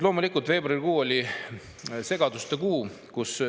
Loomulikult, veebruarikuu oli segaduste kuu.